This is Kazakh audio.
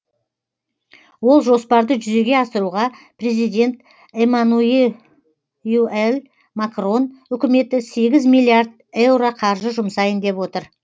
ол жоспарды жүзеге асыруға президент эммануюэль макрон үкіметі сегіз миллиард еуро қаржы жұмсайын деп отыр